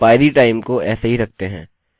इसे यहाँ ऊपर रखते हैं